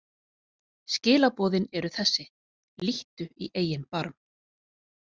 Skilaboðin eru þessi: Líttu í eigin barm!